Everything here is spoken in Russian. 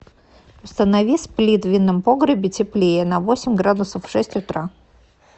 установи сплит в винном погребе теплее на восемь градусов в шесть утра